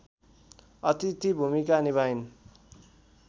अथिति भूमिका निभाइन्